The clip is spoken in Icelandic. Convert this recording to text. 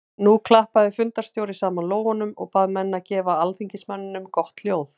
Nú klappaði fundarstjóri saman lófunum og bað menn að gefa alþingismanninum gott hljóð.